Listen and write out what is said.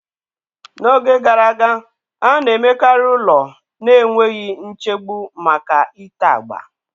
N'oge gara aga, a na-emekarị ụlọ na-enweghị nchegbu maka ite agba.